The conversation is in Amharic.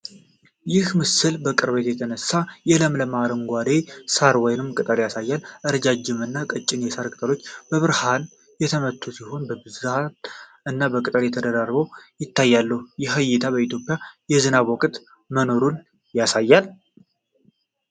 ይህ ምስል በቅርበት የተነሳ የለምለም አረንጓዴ ሳር ወይም ቅጠል ያሳያል። ረዣዥም እና ቀጭን የሳር ቅጠሎች በብርሃን የተመቱ ሲሆን በብዛት እና በጥቅል ተደራርበው ይታያሉ። ይህ እይታ በኢትዮጵያ የትኛው የዝናብ ወቅት መኖሩን ያሳያል?